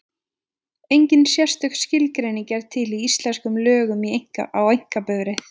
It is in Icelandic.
Engin sérstök skilgreining er til í íslenskum lögum á einkabifreið.